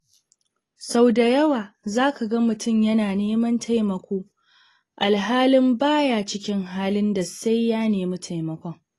Sau da yawa za ka ga mutum yana neman taimako alhalin ba ya cikin halin da sai ya nemi taimakon.